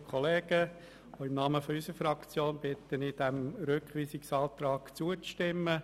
Auch im Namen der FDPFraktion bitte ich, diesem Rückweisungsantrag zuzustimmen.